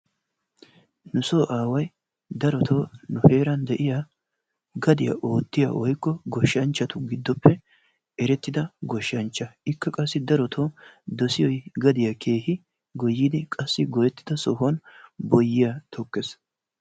Nusoo away darottoo nu heeran de'iya gadiya ootiya woykko goshshanchchatu giddoppe erettida goshshanchcha. Ikka qassi darotoo dossiyoy gadiya keehi goyidi qassi goyettida sohuwa boyyiya tokkees.